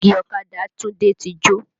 Pílọ́ọ̀gì ọ̀kadà Tunde ti jó